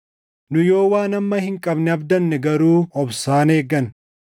Nu yoo waan amma hin qabne abdanne garuu obsaan eegganna.